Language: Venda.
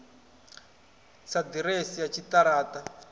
si ḓiresi ya tshiṱara ṱa